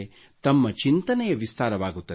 ತಮ್ಮ ಚಿಂತನೆಯ ವಿಸ್ತಾರವಾಗುತ್ತದೆ